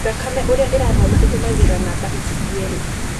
Thakame ũrĩa irathona ĩtũmangĩra namba ici cierĩ.